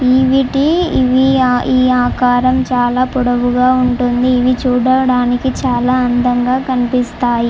వి ఇవి వీటి ఆకారం చాలా పొడవుగా ఈ ఆకారం చాలా పొడవుగా ఉంటుందిఇవి చూడటానికి చాలా అందంగా కనిపిస్తాయి--